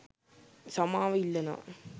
සමාව ඉල්ලනව.